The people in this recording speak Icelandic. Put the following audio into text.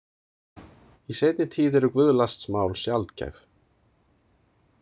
Í seinni tíð eru guðlastsmál sjaldgæf.